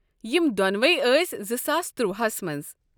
یم دۄنوے ٲسۍ زِساس ترُواہس منٛز۔